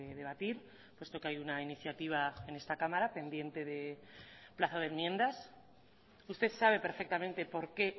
debatir puesto que hay una iniciativa en esta cámara pendiente de plazo de enmiendas usted sabe perfectamente por qué